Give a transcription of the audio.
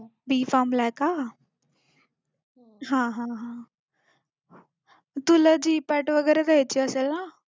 BPharm ला आहे का हा हा हा तुला GPAT वगैरे द्यायची असेल ना